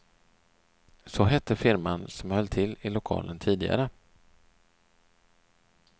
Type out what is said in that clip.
Så hette firman som höll till i lokalen tidigare.